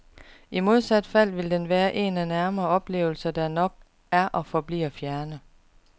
I modsat fald vil den være en af nære oplevelser, der nok er og forbliver fjerne.